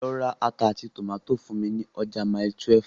Lọ ra ata àti tòmátì fún mi ní ọjà Mile 12.